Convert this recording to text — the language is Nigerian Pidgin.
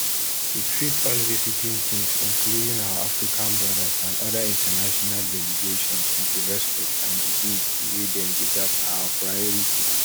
to treat all visiting teams including our african brothers and oda international delegations wit di respect and dignity wey dem deserve na our priority